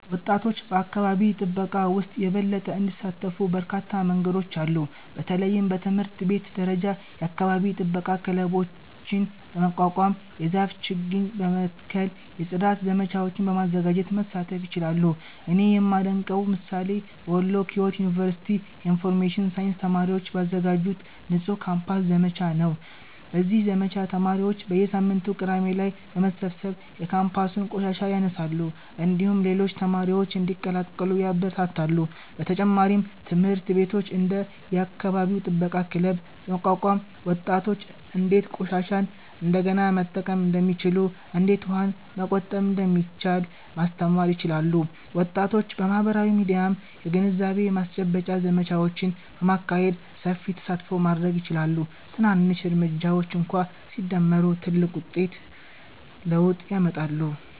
ወጣቶች በአካባቢ ጥበቃ ውስጥ የበለጠ እንዲሳተፉ በርካታ መንገዶች አሉ። በተለይም በትምህርት ቤት ደረጃ የአካባቢ ጥበቃ ክለቦችን በማቋቋም፣ የዛፍ ችግኝ በመትከል፣ የጽዳት ዘመቻዎችን በማዘጋጀት መሳተፍ ይችላሉ። እኔ የማደንቀው ምሳሌ በወሎ ኪዮት ዩኒቨርሲቲ የኢንፎርሜሽን ሳይንስ ተማሪዎች ባዘጋጁት “ንጹህ ካምፓስ” ዘመቻ ነው። በዚህ ዘመቻ ተማሪዎች በየሳምንቱ ቅዳሜ ላይ በመሰብሰብ የካምፓሱን ቆሻሻ ያነሳሉ፣ እንዲሁም ሌሎች ተማሪዎችን እንዲቀላቀሉ ያበረታታሉ። በተጨማሪም ትምህርት ቤቶች እንደ “የአካባቢ ጥበቃ ክለብ” በማቋቋም ወጣቶች እንዴት ቆሻሻን እንደገና መጠቀም እንደሚችሉ፣ እንዴት ውሃን መቆጠብ እንደሚቻል ማስተማር ይችላሉ። ወጣቶች በማህበራዊ ሚዲያም የግንዛቤ ማስጨበጫ ዘመቻዎችን በማካሄድ ሰፊ ተሳትፎ ማድረግ ይችላሉ። ትናንሽ እርምጃዎች እንኳ ሲደመሩ ትልቅ ለውጥ ያመጣሉ።